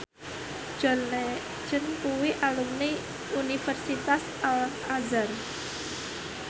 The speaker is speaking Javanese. John Legend kuwi alumni Universitas Al Azhar